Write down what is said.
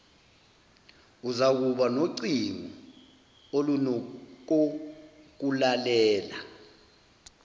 uzakuba nocingo olunokokulalela